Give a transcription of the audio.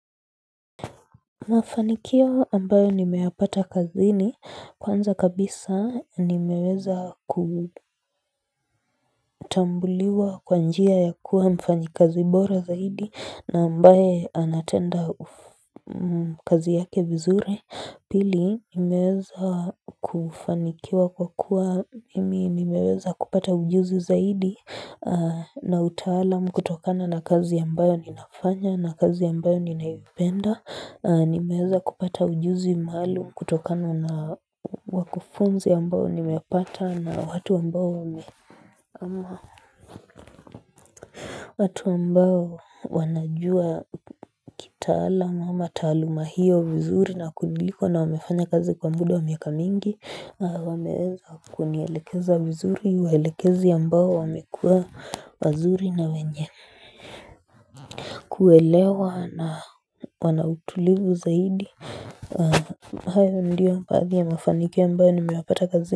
Mafanikio ambayo nimeyapata kazini kwanza kabisa nimeweza kutambuliwa kwa njia ya kuwa mfanyakazi bora zaidi na ambaye anatenda kazi yake vizuri. Pili nimeweza kufanikiwa kwa kuwa mimi nimeweza kupata ujuzi zaidi na utaalamu kutokana na kazi ambayo ninafanya na kazi ambayo ninaipenda nimeweza kupata ujuzi maalum kutokana na wakufunzi ambao nimepata na watu ambayo umeamua watu ambao wanajua kitaalam ama taaluma hiyo vizuri na kuniliko na wamefanya kazi kwa muda wa miaka mingi wameweza kunielekeza vizuri waelekezi ambao wamekua wazuri na wenye kuelewa na wana utulivu zaidi hayo ndiyo baadhi ya mafanikio ambayo nimeyapata kazini.